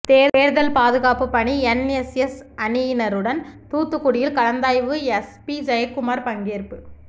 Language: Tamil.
தேர்தல் பாதுகாப்பு பணி என்எஸ்எஸ் அணியினருடன் தூத்துக்குடியில் கலந்தாய்வு எஸ்பி ஜெயக்குமார் பங்கேற்பு